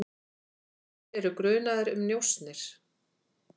Þeir eru grunaðir um njósnir.